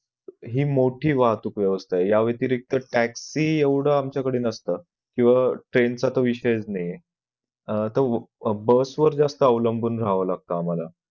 हि मोठी वाहतूक वेवस्था या वेतिरिक्त taxi एवढं आमच्याकडं नसत किंवा train चा विषय नाहीये bus वर जास्त अलंबुन राहावं लागत आम्हाला